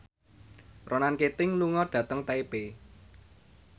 Ronan Keating lunga dhateng Taipei